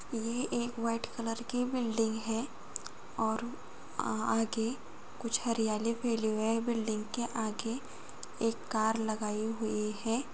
ये एक white colour की बिल्डिंग है और आगे कुछ हरियाली फैली हुई है बिल्डिंग के आगे एक कार लगाई हुई है ।